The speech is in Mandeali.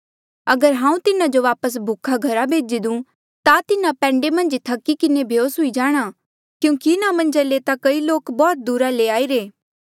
अगर हांऊँ तिन्हा जो वापस भूखा घरा भेजी दूं ता तिन्हा पैंडे मन्झ ई थकी किन्हें बेहोस हुई जाणा क्यूंकि इन्हा मन्झा ले कई ता बौह्त दूरा ले आईरे